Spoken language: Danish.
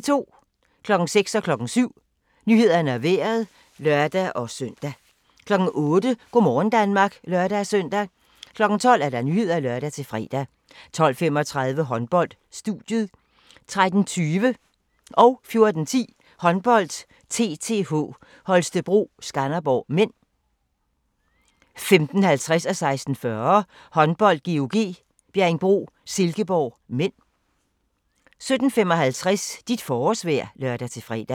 06:00: Nyhederne og Vejret (lør-søn) 07:00: Nyhederne og Vejret (lør-søn) 08:00: Go' morgen Danmark (lør-søn) 12:00: Nyhederne (lør-fre) 12:35: Håndbold: Studiet 13:20: Håndbold: TTH Holstebro - Skanderborg (m) 14:10: Håndbold: TTH Holstebro - Skanderborg (m) 15:50: Håndbold: GOG - Bjerringbro-Silkeborg (m) 16:40: Håndbold: GOG - Bjerringbro-Silkeborg (m) 17:55: Dit forårsvejr (lør-fre)